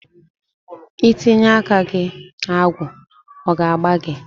I Tinye aka ka agwụ ọ ga a gbaa gị?